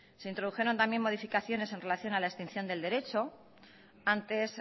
se introdujeron también modificaciones en relación a la extinción del derecho antes